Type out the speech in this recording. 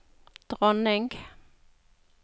dronning